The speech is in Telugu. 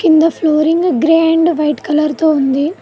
కింద flooring grey and white colour తో ఉంది.